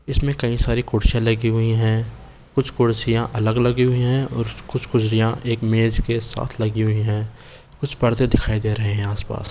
इसमें कई सारी कुर्सियां लगी हुई हैं कुछ कुर्सियां अलग लगी हुई हैं और कुछ कुर्सियां एक मेज के साथ लगी हुई हैं कुछ पर्दे दिखाई दे रहे हैं आस-पास।